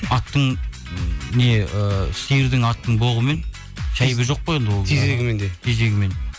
аттың не ыыы сиырдың аттың боғымен жоқ қой ол тезегімен де тезегімен